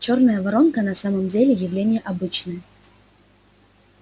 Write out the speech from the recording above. чёрная воронка на самом деле явление обычное